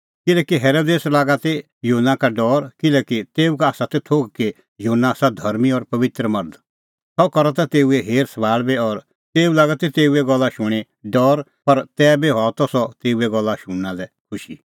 किल्हैकि हेरोदेस राज़ै लागा ती युहन्ना का डौर किल्हैकि तेऊ का आसा त थोघ कि युहन्ना आसा धर्मीं और पबित्र मर्ध सह करा त तेऊए हेर सभाल़ बी और तेऊ लागा ती तेऊए गल्ला शूणीं डौर पर तैबी बी हआ त सह तेऊए गल्ला शुणना लै खुशी